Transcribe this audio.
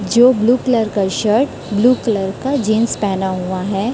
जो blue colour का shirt blue colour का जींस पहना हुआ है।